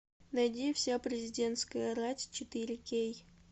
найди вся президентская рать четыре кей